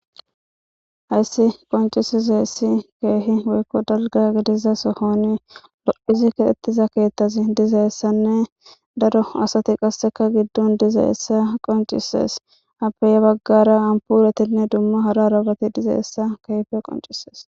Hayis qoncisizayis kehi woyiko daliga gidiza sohon lo7id kexida kethaz dizayisane daro asat qaseka gidon dizayisa qonicises. Aape bagara anipoletine duma hara hara bati dizayisa kehipe qoncises.